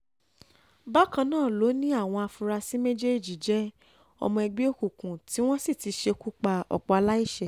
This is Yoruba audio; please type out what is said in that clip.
bákan náà ló ní àwọn afurasí méjèèjì jẹ́ ọmọ ẹgbẹ́ òkùnkùn tí wọ́n sì ti ṣekú pa ọ̀pọ̀ aláìṣẹ̀